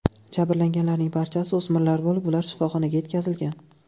Jabrlanganlarning barchasi o‘smirlar bo‘lib, ular shifoxonaga yetkazilgan.